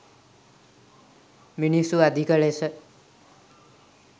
මිනිස්සු අධික ලෙස